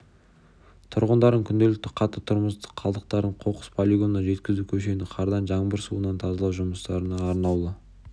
тұрғындардың күнделікті қатты тұрмыстық қалдықтарын қоқыс полигонына жеткізу көшені қардан жаңбыр суынан тазалау жұмыстары арнаулы